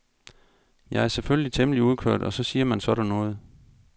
Jeg er selvfølgelig temmelig udkørt og så siger man sådan noget.